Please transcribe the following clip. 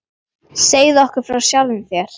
Segðu okkur frá sjálfum þér.